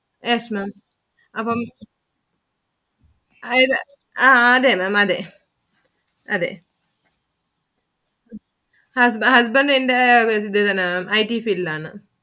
Yes Maám അപ്പം അതായതു അഹ് അതെ Maám അതെ അതെ Husband എന്റെ നാണ് IT field ഇൽ ആണ്.